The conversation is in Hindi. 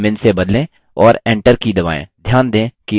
और enter की दबाएँ